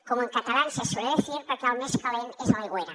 como en catalán se suele decir perquè el més calent és a l’aigüera